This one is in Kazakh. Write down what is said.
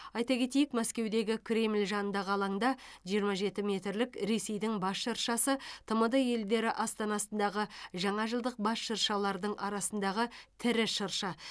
айта кетейік мәскеудегі кремль жанындағы алаңда жиырма жеті метрлік ресейдің бас шыршасы тмд елдері астанасындағы жаңажылдық бас шыршалардың арасындағы тірі шырша